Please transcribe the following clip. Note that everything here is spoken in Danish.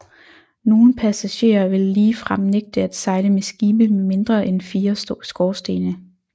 Nogle passagerer ville ligefrem nægte at sejle med skibe med mindre end fire skorstene